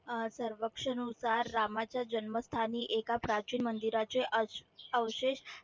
अह सर्वक्षनुसार रामाच्या जन्मस्थानी एका प्राचीन मंदिराचे अवशेष